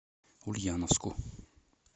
ульяновску